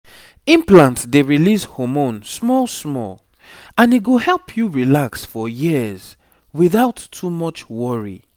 implant dey release hormone small small and e go help you relax for years without too much worry.